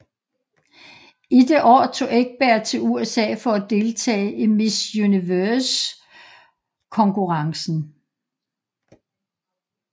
I det år tog Ekberg til USA for at deltage i Miss Universumkonkurrencen